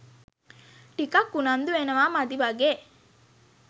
ටිකක් උනන්දු වෙනවා මදි වගේ.